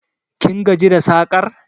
Kin gaji da sakar?